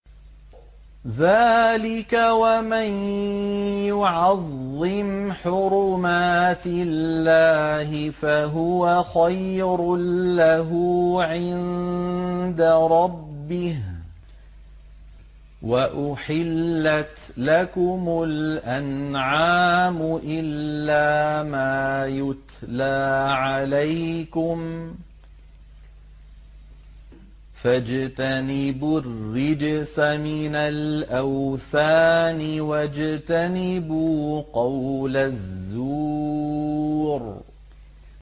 ذَٰلِكَ وَمَن يُعَظِّمْ حُرُمَاتِ اللَّهِ فَهُوَ خَيْرٌ لَّهُ عِندَ رَبِّهِ ۗ وَأُحِلَّتْ لَكُمُ الْأَنْعَامُ إِلَّا مَا يُتْلَىٰ عَلَيْكُمْ ۖ فَاجْتَنِبُوا الرِّجْسَ مِنَ الْأَوْثَانِ وَاجْتَنِبُوا قَوْلَ الزُّورِ